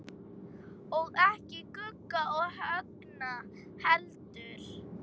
Og ekki Gugga og Högna heldur.